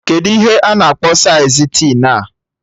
Kedụ ihe a na-akpọ saịz tin a?